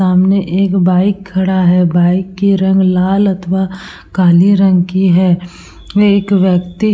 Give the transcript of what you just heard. सामने एक बाइक खड़ा है। बाइक के रंग लाल अथवा काले रंग की है। एक व्यक्ति --